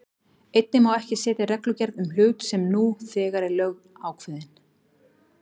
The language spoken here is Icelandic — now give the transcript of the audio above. Einnig má ekki setja reglugerð um hlut sem nú þegar er lögákveðinn.